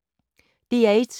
DR1